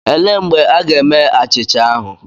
Elee mgbe a ga-eme achịcha ahụ?